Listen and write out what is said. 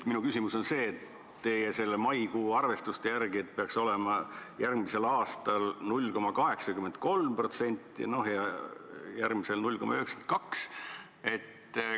Minu küsimus on nüüd selle kohta, et teie maikuu arvestuste järgi peaks rahastus olema järgmisel aastal 0,83% ja sealt edasi 0,92%.